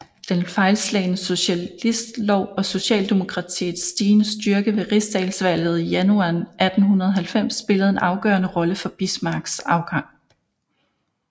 Den fejlslagne socialistlov og socialdemokratiets stigende styrke ved rigsdagsvalget i januar 1890 spillede en afgørende rolle for Bismarcks afgang